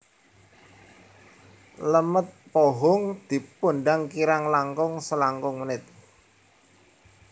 Lemet pohung dipundhang kirang langkung selangkung menit